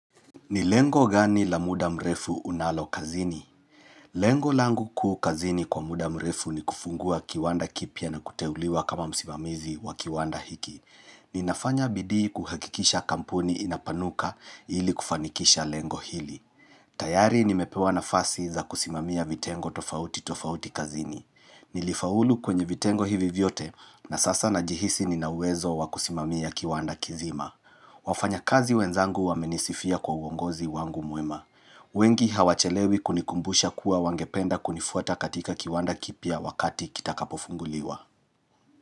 Ni lengo gani la muda mrefu unalo kazini? Lengo langu kuu kazini kwa muda mrefu ni kufungua kiwanda kipya na kuteuliwa kama msimamizi wa kiwanda hiki. Ninafanya bidii kuhakikisha kampuni inapanuka ili kufanikisha lengo hili. Tayari nimepewa na fasi za kusimamia vitengo tofauti tofauti kazini. Nilifaulu kwenye vitengo hivi vyote na sasa najihisi ninawezo wa kusimamia kiwanda kizima. Wafanya kazi wenzangu wamenisifia kwa uongozi wangu mwema wengi hawachelewi kunikumbusha kuwa wangependa kunifuata katika kiwanda kipya wakati kita kapofunguliwa.